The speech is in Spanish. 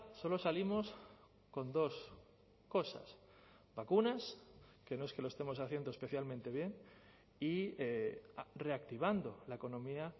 solo salimos con dos cosas vacunas que no es que lo estemos haciendo especialmente bien y reactivando la economía